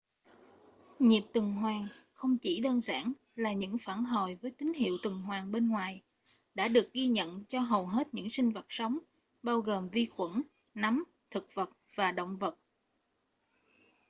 nhịp tuần hoàn không chỉ đơn giản là những phản hồi với tín hiệu tuần hoàn bên ngoài đã được ghi nhận cho hầu hết những sinh vật sống bao gồm vi khuẩn nấm thực vật và động vật